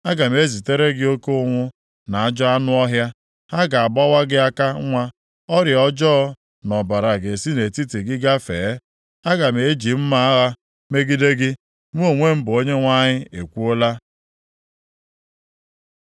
Aga m ezitere gị oke ụnwụ na ajọ anụ ọhịa, ha ga-agbawa gị aka nwa, ọrịa ọjọọ na ọbara ga-esi nʼetiti gị gafee; aga m eji mma agha megide gị. Mụ onwe m bụ Onyenwe anyị ekwuola.”